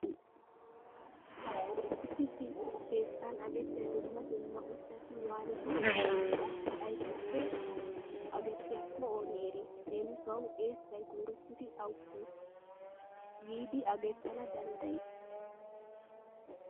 Issi issi keettan agettiya dumma dumma ushshati waanidinne qassi aybiple agettiyakko ooni eri? Leemisuwawu eessay koyrottidi awuppe yiidi agettana danddayi?